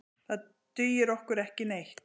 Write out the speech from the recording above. Það dugir okkur ekki neitt.